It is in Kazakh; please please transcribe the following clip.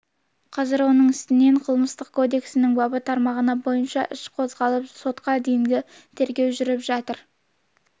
қазір оның үстінен қылмыстық кодексінің бабы тармағы бойынша іс қозғалып сотқа дейінгі тергеу жүріп жатыр